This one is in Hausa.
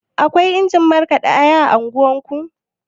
Akwai injin markaɗa aya a unguwarku?